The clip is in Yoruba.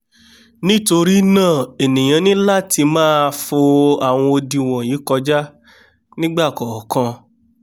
nítorínáà ènìà ní látimáà fo àwọn odi wọ̀nyìí kọjá nígbà kọ̀ọ̀kan